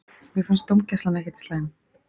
Mér fannst dómgæslan ekkert slæm.